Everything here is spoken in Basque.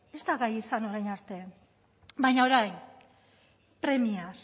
ez da gai izan orain arte baina orain premiaz